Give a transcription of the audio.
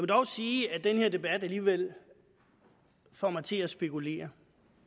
dog sige at den her debat alligevel får mig til at spekulere